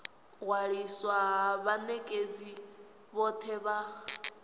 ṅwaliswa ha vhanekedzi vhothe vha